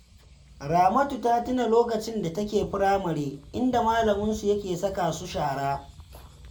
Ramatu tana tuna lokacin da take firamare, inda malaminsu yake saka su shara